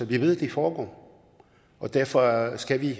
vi ved de foregår og derfor skal vi